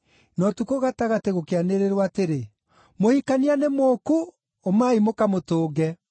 “Na ũtukũ gatagatĩ gũkĩanĩrĩrwo atĩrĩ: ‘Mũhikania nĩ mũũku! Umai mũkamũtũnge!’